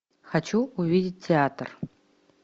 хочу увидеть театр